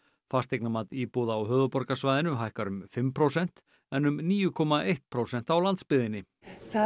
fasteignamat íbúða á höfuðborgarsvæðinu hækkar um fimm prósent en um níu komma eitt prósent á landsbyggðinni það